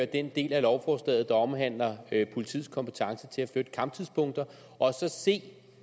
den del af lovforslaget der omhandler politiets kompetence til at flytte kamptidspunkter og så se